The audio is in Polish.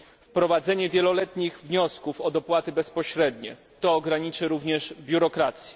wprowadzenie wieloletnich wniosków o dopłaty bezpośrednie to ograniczy również biurokrację.